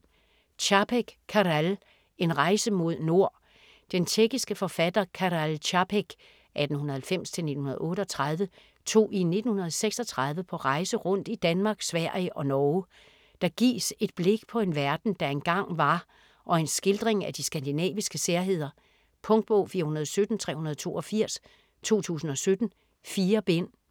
Čapek, Karel: En rejse mod nord Den tjekkiske forfatter Karel Čapek (1890-1938) tog i 1936 på rejse rundt i Danmark, Sverige og Norge. Der gives et blik på en verden, der engang var, og en skildring af de skandinaviske særheder. Punktbog 417382 2017. 4 bind.